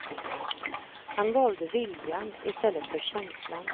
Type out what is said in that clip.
Han valde viljan i stället för känslan.